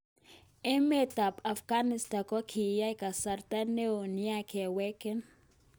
Emet ap Afghanistan kokingan kasarta neo nia keweken